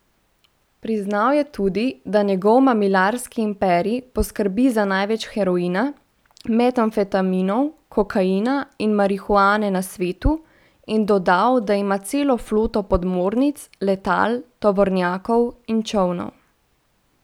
Priznal je tudi, da njegov mamilarski imperij poskrbi za največ heroina, metamfetaminov, kokaina in marihuane na svetu, in dodal, da ima celo floto podmornic, letal, tovornjakov in čolnov.